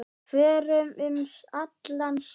Förum um allan sjó.